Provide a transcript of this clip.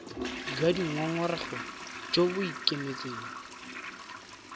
jwa dingongorego jo bo ikemetseng